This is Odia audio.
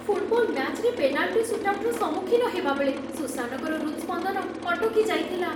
ଫୁଟବଲ୍ ମ୍ୟାଚ୍‌ରେ ପେନାଲ୍‌ଟି ସୁଟ୍ଆଉଟର ସମ୍ମୁଖୀନ ହେବା ବେଳେ ସୁସାନଙ୍କର ହୃତ୍ସ୍ପନ୍ଦନ ଅଟକି ଯାଇଥିଲା